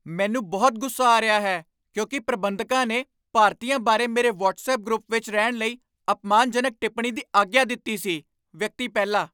ਮੈਨੂੰ ਬਹੁਤ ਗੁੱਸਾ ਆ ਰਿਹਾ ਹੈ ਕਿਉਂਕਿ ਪ੍ਰਬੰਧਕਾਂ ਨੇ ਭਾਰਤੀਆਂ ਬਾਰੇ ਮੇਰੇ ਵਟਸਐਪ ਗਰੁੱਪ ਵਿੱਚ ਰਹਿਣ ਲਈ ਅਪਮਾਨਜਨਕ ਟਿੱਪਣੀ ਦੀ ਆਗਿਆ ਦਿੱਤੀ ਸੀ ਵਿਅਕਤੀ ਪਹਿਲਾ